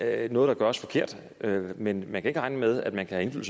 er noget der gøres forkert men man kan ikke regne med at man kan have